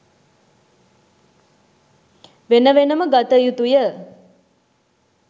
වෙන වෙනම ගත යුතුය.